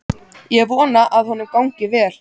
Ég vona að honum gangi vel.